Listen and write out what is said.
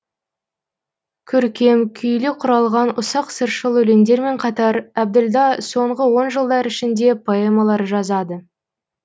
көркем күйлі құралған ұсақ сыршыл өлеңдермен қатар әбділда соңғы он жылдар ішінде поэмалар жазады